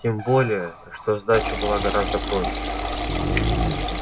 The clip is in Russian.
тем более что сдача была гораздо проще